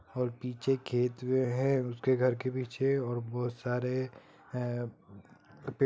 और पीछे खेत है उसके घर के पीछे और बहोत सारे--